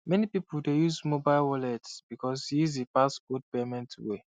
many people dey use mobile wallet because e easy pass old payment way